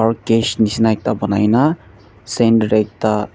cage nishina ekta banaina center tae ekta--